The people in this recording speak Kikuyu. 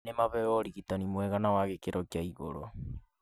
nĩ maheo ũrigitani mwega na wa gĩkĩro kĩa igũrũ.